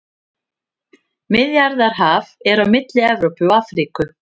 Miðjarðarhaf er á milli Evrópu og Afríku.